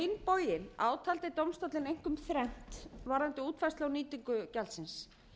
taldi dómstóllinn einkum þrennt varðandi útfærslu á nýtingu gjaldsins